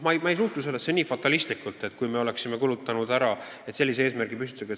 Ma ei suhtu sellesse nii fatalistlikult, et on väga hull, kui me püstitatud eesmärgini ei jõudnud.